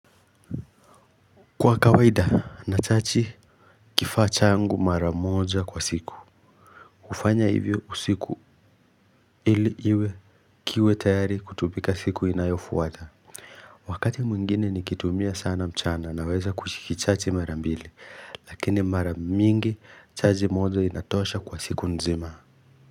Kwa kawaida, natachi kifaa changu mara moja kwa siku. Ufanya hivyo usiku ili iwe kiwe tayari kutumika siku inayofuata. Wakati mwingine nikitumia sana mchana naweza kuchikichachi mara mbili. Lakini mara mingi, chaji moja inatosha kwa siku nzima.